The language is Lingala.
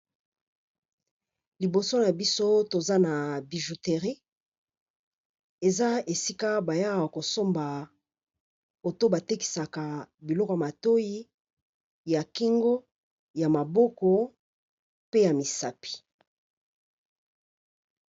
Liboso na biso toza na bijouterie. Eza esika ba yaka kosomba ou to ba tekisaka biloko ya matoyi, ya Kingo, ya maboko, pe ya misapi.